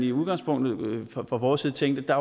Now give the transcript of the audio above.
i udgangspunktet fra fra vores side tænkte at